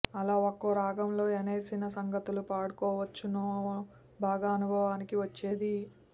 అలా ఒక్కో రాగంలో ఎనే్నసి సంగతులు పాడవచ్చునో బాగా అనుభవానికి వచ్చేది